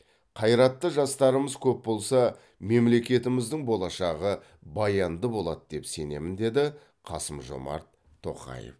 қайратты жастарымыз көп болса мемлекетіміздің болашағы баянды болады деп сенемін деді қасым жомарт тоқаев